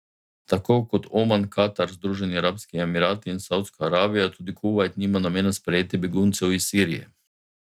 Tako kot Oman, Katar, Združeni Arabski Emirati in Savdska Arabija tudi Kuvajt nima namena sprejeti beguncev iz Sirije.